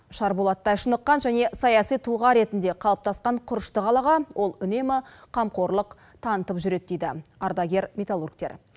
шарболаттай шыныққан және саяси тұлға ретінде қалыптасқан құрышты қалаға ол үнемі қамқорлық танытып жүреді дейді ардагер металлургтер